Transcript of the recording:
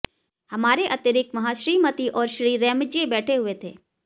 हमारे अतिरिक्त वहां श्रीमती और श्री रैमजै बैठे हुए थे